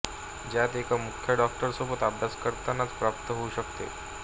ज्यात एका मुख्य डॉक्टरसोबत अभ्यास करतानाच प्रात्प होऊ शकते